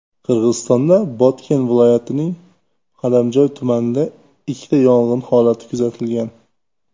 Qirg‘izistonda Botken viloyatining Qadamjoy tumanida ikkita yong‘in holati kuzatilgan.